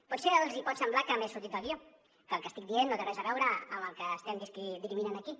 potser els pot semblar que m’he sortit del guió que el que estic dient no té res a veure amb el que estem dirimint aquí